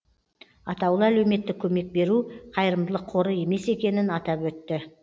атаулы әлеуметтік көмек беру қайырымдылық қоры емес екенін атап өтті